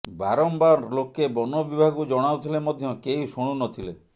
ବାରମ୍ବାର ଲୋକେ ବନ ବିଭାଗକୁ ଜଣାଉଥିଲେ ମଧ୍ୟ କେହି ଶୁଣୁ ନଥିଲେ